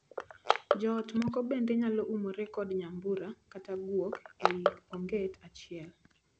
Joot moko bende nyalo umore kod nyambura kata guok ei onget achiel.